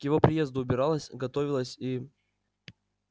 к его приезду убиралась готовилась и